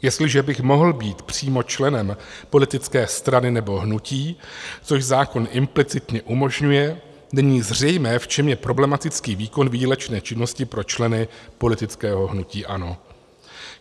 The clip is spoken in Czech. Jestliže bych mohl být přímo členem politické strany nebo hnutí, což zákon implicitně umožňuje, není zřejmé, v čem je problematický výkon výdělečné činnosti pro členy politického hnutí ANO.